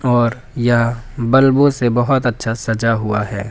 और यह बल्बों से बहुत अच्छा सजा हुआ है।